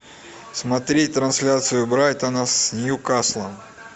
смотреть трансляцию брайтона с ньюкаслом